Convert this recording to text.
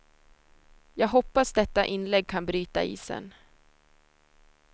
Jag hoppas detta inlägg kan bryta isen.